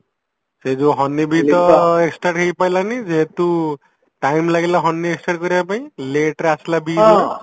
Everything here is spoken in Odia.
ସେଇ ଯୋଉ honey bee ତ extend ହେଇପାରିଲାନି ଯେହେତୁ time ଲାଗିଲା honey extend କରିବା ପାଇଁ lateରେ ଆସିଲା